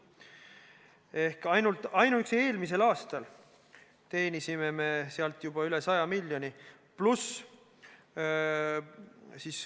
Ainuüksi eelmisel aastal teenisime sealt üle 100 miljoni euro.